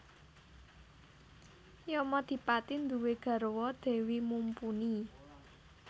Yamadipati nduwé garwa Dewi Mumpuni